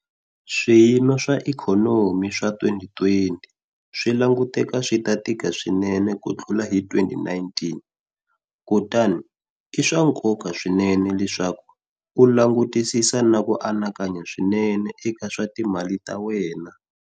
Swiyimo swa ikhonomi swa 2020 swi languteka swi ta tika swinene ku tlula hi 2019, kutani i swa nkoka swinene leswaku u langutisisa na ku anakanya swinene eka swa timali ta wena.